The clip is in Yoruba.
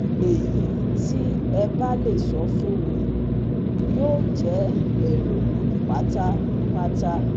Ẹ̀yí tí ẹ̀ bá le sọ fún mi yóò jẹ́ èrò pátápátá